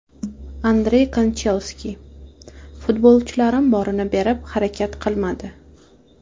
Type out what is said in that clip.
Andrey Kanchelskis: Futbolchilarim borini berib harakat qilmadi !